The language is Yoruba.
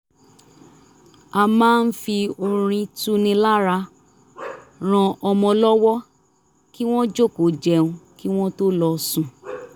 a máa ń fi orin tuni lára ran ọmọ lọwọ kí wọ́n jòkòó jẹun kí wọ́n tó lọ sùn